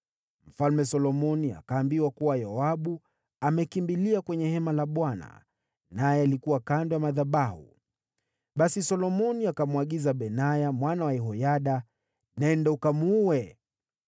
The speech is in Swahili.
Mfalme Solomoni akaambiwa kuwa Yoabu amekimbilia kwenye hema la Bwana naye alikuwa kando ya madhabahu. Basi Solomoni akamwagiza Benaya mwana wa Yehoyada: “Nenda ukamuue!”